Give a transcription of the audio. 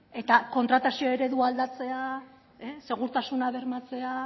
eta kontratazio eredua aldatzea segurtasuna bermatzea